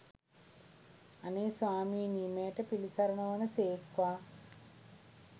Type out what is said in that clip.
අනේ ස්වාමීනී මෙයට පිළිසරණ වන සේක්වා!